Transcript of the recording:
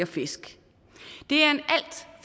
fiskeri